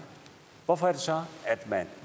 hvorfor